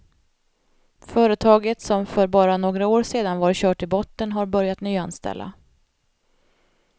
Företaget, som för bara några år sedan var kört i botten, har börjat nyanställa.